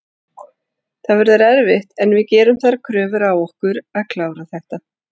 Það verður erfitt en við gerum þær kröfur á okkur að klára þetta.